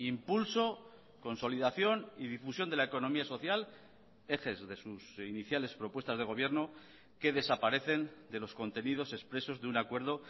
impulso consolidación y difusión de la economía social ejes de sus iniciales propuestas de gobierno que desaparecen de los contenidos expresos de un acuerdo